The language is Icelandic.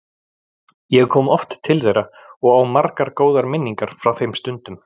Ég kom oft til þeirra og á margar góðar minningar frá þeim stundum.